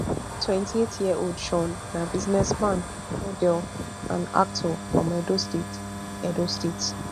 twenty-eightyearold shaun na businessman model and actor from edo state edo state